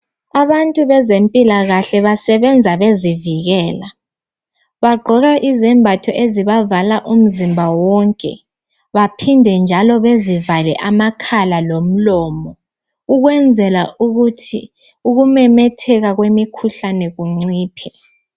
Abantu bezempilakahle basebenza bezivikela bagqoka izembatho ezibavala umzimba wonke baphinde njalo bezivale amakhala lomlomo ukwenzela ukuthi ukumemetheka kwemikhuhlane kunciphe.